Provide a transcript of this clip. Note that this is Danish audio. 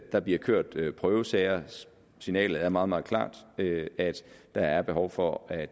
der bliver kørt kørt prøvesager og signalet er meget meget klart nemlig at der er behov for at